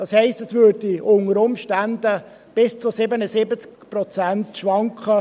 Das heisst: Unter Umständen würde es von 63 bis zu 77 Prozent schwanken.